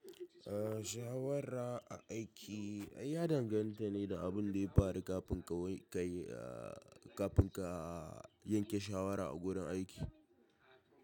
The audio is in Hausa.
Ah shawara a aiki, ya danganta ne da abin da ya faru kafin ka kai ah kafin ka yanke shawara a gurin aiki.